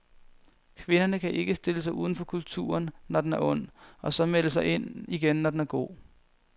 Kvinderne kan ikke stille sig uden for kulturen, når den er ond, og så melde sig ind igen, når den er god.